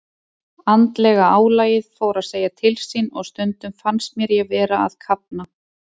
Andlega álagið fór að segja til sín og stundum fannst mér ég vera að kafna.